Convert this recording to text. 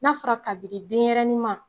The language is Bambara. N'a fara kabinin denyɛrɛnin ma